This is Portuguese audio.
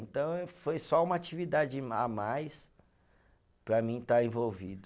Então eh, foi só uma atividade a mais para mim estar envolvido.